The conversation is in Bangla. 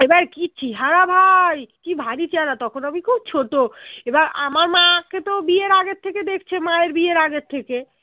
এবার কি চেহারা ভাই কি ভারী চেহারা তখন আমি খুব ছোট এবার আমার মা কে তো বিয়ের আগের থেকে দেখছে মায়ের বিয়ের আগের থেকে